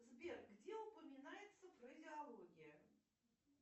сбер где упоминается фразеология